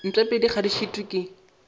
mpšapedi ga di šitwe ke